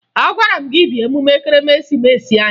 Agwara m gị bịa emume Ekeresimeesi anyị!